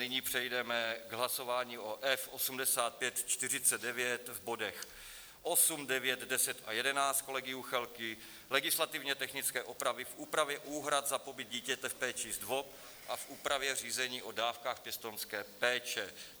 Nyní přejdeme k hlasování o F8549 v bodech 8, 9, 10 a 11 kolegy Juchelky, legislativně technické opravy v úpravě úhrad za pobyt dítěte v péči ZDVOP a v úpravě řízení o dávkách pěstounské péče.